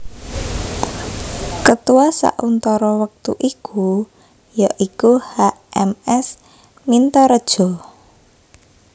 Ketua sauntara wektu iku ya iku H M S Mintaredja